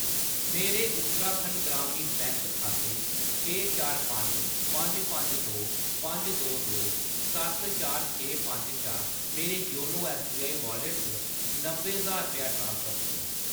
मेरे उत्तराखंड ग्रामीण बैंक खाते छे चार पंज पंज पंज दो पंज दो दो सत्त चार छे पंज चा मेरे योनो ऐस्सबीआई वालेट च नब्बै ज्हार रपेआ ट्रांसफर करो